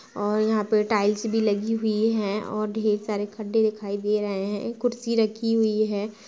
और यहाँ पे टाइल्स भी लगी हुई है और ढेर सारे खड्डे दिखाई दे रहे हैं | कुर्सी रखी हुई है ।